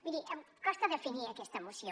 miri em costa definir aquesta moció